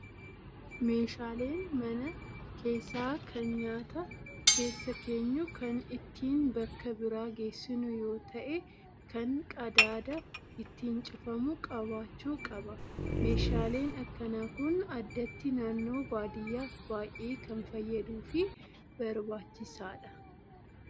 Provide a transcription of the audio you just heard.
Meeshaaleen mana keessaa kan nyaata keessa keenyu kan ittiin bakka biraa geessinu yoo ta'e, kan qadaada ittiin cufamu qabaachuu qaba. Meeshaaleen akkanaa Kun addatti naannoo baadiyyaaf baay'ee kan fayyaduu fi barbaachisaadha